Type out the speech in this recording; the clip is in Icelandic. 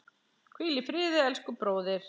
Hvíl í friði, elsku bróðir.